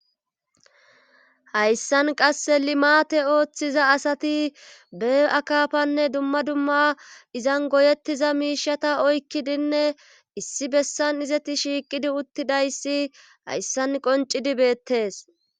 hayssan qasse limate ooththiza asati bee-akafanne dumma dumma izan goyettiza miishata oykkidinne issi bessan izati shiiqidi uttidayssi hayssan qoncidi beettees